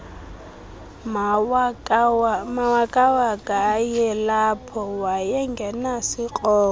mawakawaka ayelapho wayengenasikrokro